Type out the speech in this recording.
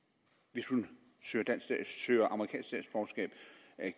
hvis hun søger amerikansk statsborgerskab